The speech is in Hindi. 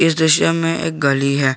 दृश्य में एक गली है।